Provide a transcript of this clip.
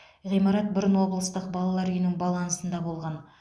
ғимарат бұрын облыстық балалар үйінің балансында болған